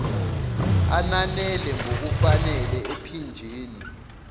ananele ngokufanele ephinjeni